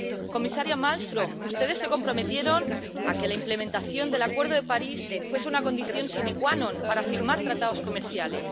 Comisaria Malmström, ustedes se comprometieron a que la implementación del Acuerdo de París fuese una condición sine qua non para firmar tratados comerciales.